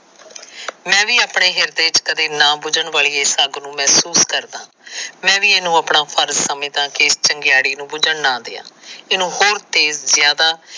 ਮੈਂ ਵੀ ਆਪਣੇ ਹਿਰਦੇ ਵਿਚ ਕਦੇ ਨਾ ਬੁੱਝਣ ਵਾਲੀ ਇਸ ਅੱਗ ਨੂੰ ਮਹਿਸੂਸ ਕਰਦਾ। ਮੈਂ ਵੀ ਇਹਨੂੰ ਆਪਣਾ ਫਰਜ਼ ਸਮਝਦਾ ਕਿ ਇਸ ਚਿੰਗਾਰੀ ਨੂੰ ਬੁੱਝਣ ਨਾ ਦਿਆਂ। ਇਹਨੂੰ ਹੋਰ ਤੇਜ਼ ਜਿਆਦਾ।